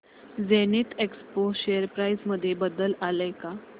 Zenith Expo share price मध्ये बदल आलाय का